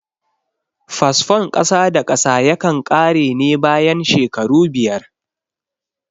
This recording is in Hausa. Fasfon kasa da kasa yakan ƙare ne bayan shekaru biyar